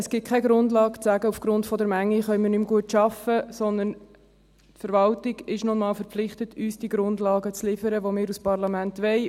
Es gibt keine Grundlage, um zu sagen, aufgrund der Menge könne man nicht mehr gut arbeiten, sondern die Verwaltung ist nun einmal verpflichtet, uns diese Grundlagen zu liefern, die wir als Parlament wollen.